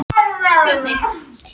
Tímóteus, hvað er í dagatalinu í dag?